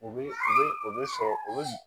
U bɛ u bɛ u bɛ sɔrɔ u bɛ